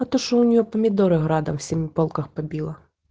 а то что у неё помидоры градом семиполках побила